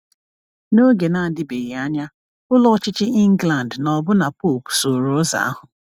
N’oge na-adịbeghị anya, Ụlọ Ọchịchị England na ọbụna Pope sooro ụzọ ahụ.